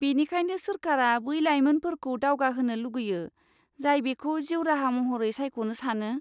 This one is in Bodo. बेनिखायनो सोरखारा बै लायमोनफोरखौ दावगाहोनो लुगैयो, जाय बेखौ जिउ राहा महरै सायख'नो सानो।